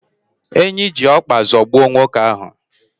Enyi ji ọkpa zọgbuo nwoke ahu